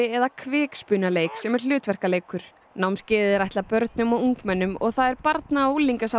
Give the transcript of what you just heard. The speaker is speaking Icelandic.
eða kvikspunaleik sem er hlutverkaleikur námskeiðið er ætlað börnum og ungmennum og það er barna og